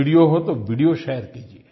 video हो तो video share कीजिए